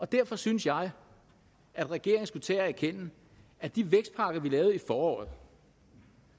derfor synes jeg at regeringen skulle tage at erkende at de vækstpakker vi lavede i foråret